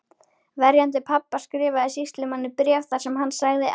Verjandi pabba skrifaði sýslumanni bréf þar sem hann sagði að